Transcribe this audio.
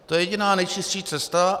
To je jediná nejčistší cesta.